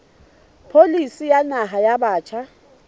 pholisi ya naha ya batjha